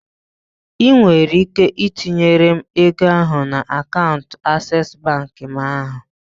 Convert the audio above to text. I nwere ike tinyere m ego ahụ na akaụntụ aseesi bank m ahụ.